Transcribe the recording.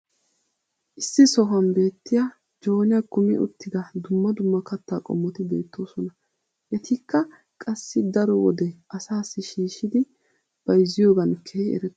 issi sohuwan beetiya joynniyaa kummi uttida dumma dumma kattaa qommoti beetoosona. etikka qassi daro wode asaassi shiishidi bayzziyoogan keehi eretoosona.